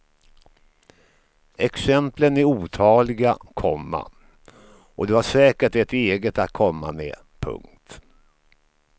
Exemplen är otaliga, komma och du har säkert ett eget att komma med. punkt